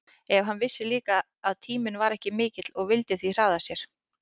En hann vissi líka að tíminn var ekki mikill og vildi því hraða sér.